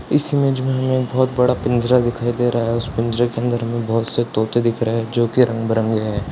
इस इमेज में हमें बहुत बड़ा पिंजरा दिखाई दे रहा है उस पिंजरे के अंदर बहुत से तोते दिख रहे है जो की रंग बिरंगे है।